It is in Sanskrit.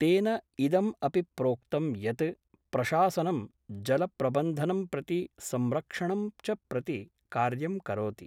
तेन इदम् अपि प्रोक्तं यत् प्रशासनं जलप्रबंधनम् प्रति संरक्षणं च प्रति कार्यं करोति।